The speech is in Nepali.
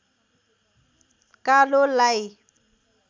कालोलाई